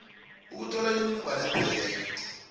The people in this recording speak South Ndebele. ukuthola imininingwana epheleleko